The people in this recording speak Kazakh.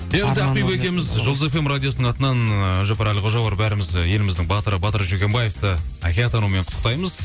енді ақбибі екеуіміз жұлдыз фм радиосының атынан ы әбдіжаппар әлқожа бар бәріміз еліміздің батыры батыр жүргенбаевты әке атануымен құттықтаймыз